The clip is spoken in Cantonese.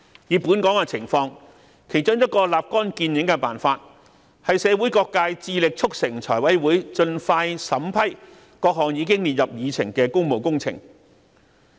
以香港情況而言，其中一個立竿見影的辦法，是由社會各界致力促成財委會盡快審批各項已列入議程的工務工程。